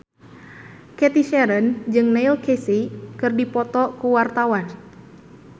Cathy Sharon jeung Neil Casey keur dipoto ku wartawan